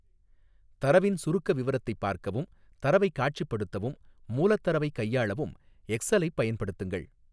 தரவின் சுருக்க விவரத்தைப் பார்க்கவும், தரவைக் காட்சிப்படுத்தவும், மூலத் தரவைக் கையாளவும் எக்ஸலைப் பயன்படுத்துங்கள்.